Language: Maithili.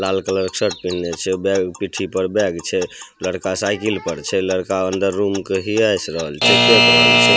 लाल कलर के शर्ट पहिन्ले छै पीठी पर बैग छै लड़का साइकिल पर छै लड़का अंदर रूम के हीयेस रहल छै ।